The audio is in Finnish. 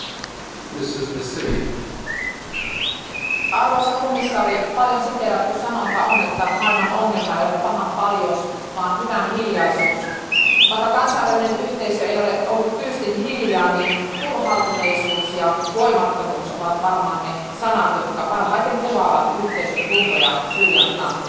Arvoisa puhemies, arvoisa komissaari, paljon siteerattu sanonta on, että maailman ongelma ei ole pahan paljous vaan hyvän hiljaisuus. Vaikka kansainvälinen yhteisö ei ole ollut tyystin hiljaa, niin turhautuneisuus ja voimattomuus ovat varmaan ne sanat, jotka parhaiten kuvaavat yhteisön tuntoja Syyrian tilanteessa.